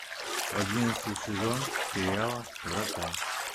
одиннадцатый сезон сериала врата